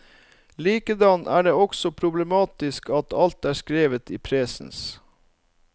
Likedan er det også problematisk at alt er skrevet i presens.